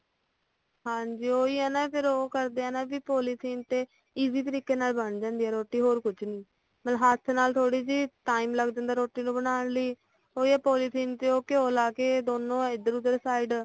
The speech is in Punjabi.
ਹਾਂਜੀ ਹਾਂਜੀ ਉਹ ਹੀ ਆ ਨਾ ਫਿਰ ਉਹ ਕਰਦੇ ਆ ਨਾ ਵੀ ਪੌਲੀਥੀਨ ਤੇ easy ਤਰੀਕੇ ਨਾਲ ਬਣ ਜਾਂਦੀ ਆ ਰੋਟੀ ਹੋਰ ਕੁਜ ਨੀ ਹੱਥ ਨਾਲ ਥੋੜੀ ਜੀ time ਲੱਗ ਜਾਂਦਾ ਰੋਟੀ ਨੂੰ ਬਣਾਉਣ ਲਈ ਉਹ ਹੀ ਪੋਲੀਥੀਨ ਤੇ ਘਿਉ ਲੈਕੇ ਦੋਨੋਂ ਇਧਰ ਓਧਰ side